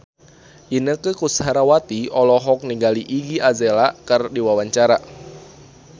Inneke Koesherawati olohok ningali Iggy Azalea keur diwawancara